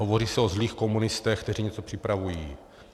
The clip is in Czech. Hovoří se o zlých komunistech, kteří něco připravují.